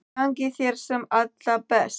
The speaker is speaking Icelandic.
Gangi þér sem allra best.